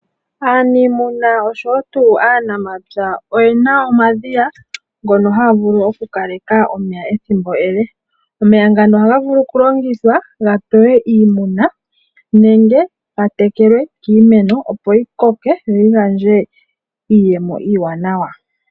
Aaniimuna oshowo tuu aanamapya oyena omadhiya ngono haavulu okukaleka omeya ethimbo ele. Omeya ngano ohaga vulu okulongitha gapewe iimuna nenge gatekele iimeno opo yikoke yoyi gandje iiyemo iiwanawa